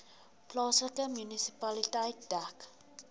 plaaslike munisipaliteit dek